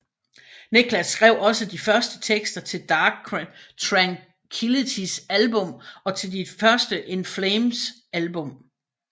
Niklas skrev også de første tekster til Dark Tranquillitys album og til de to første In Flames album